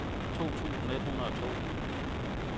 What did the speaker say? to tusind et hundrede og to